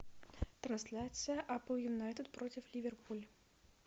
трансляция апл юнайтед против ливерпуль